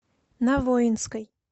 на воинской